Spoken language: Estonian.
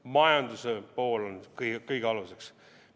Majanduse pool on kõige aluseks.